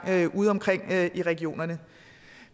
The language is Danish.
ude omkring i regionerne